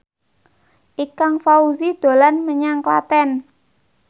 Ikang Fawzi dolan menyang Klaten